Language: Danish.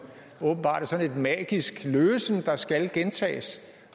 åbenbart er sådan et magisk løsen der skal gentages